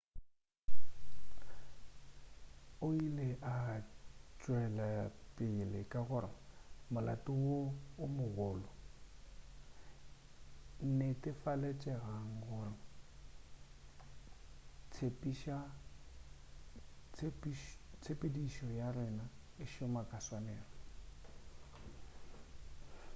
o ile a tšwelapele ka gore molato wo o mogolo netefaletšegang gore tshepedišo ya rena e šoma ka tswanelo